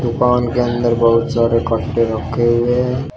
दुकान के अंदर बहुत सारे कट्टे रखे हुए हैं।